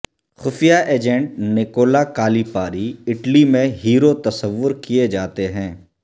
خفیہ agent Nicola Calipari اٹلی میں ہیرو تصور کیے جاتے ہیں